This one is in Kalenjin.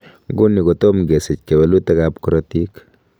Nguni, kotom kesich kewelutikab korotik.